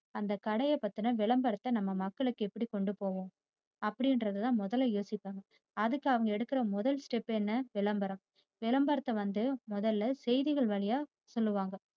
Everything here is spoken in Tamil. அந்த கடைய பத்தின விளம்பரய்த்த நம்ம மக்களுக்கு எப்படி கொண்டு போவோம் அப்படிங்கிறது தான் மொதல்ல யோசிப்பாங்க. அதுக்கு அவங்க எடுக்கிற முதல step என்ன விளம்பரம். விளம்பரத்தை வந்து முதல்ல செய்திகள் வழியா சொல்லுவாங்க